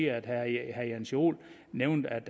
at herre jens joel nævnte at